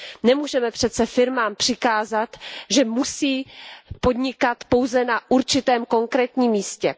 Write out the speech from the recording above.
Nemůžeme přece firmám přikázat, že musí podnikat pouze na určitém konkrétním místě.